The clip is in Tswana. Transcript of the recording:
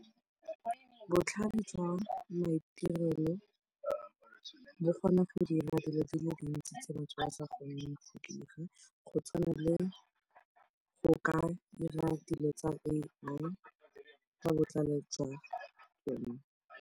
Botlhale jwa maitirelo bo kgona go dira dilo di le di ntsi tse batho ba sa kgoneng go di dira, go tshwana le go ka dira dilo tsa A_I ka botlhale jwa rona.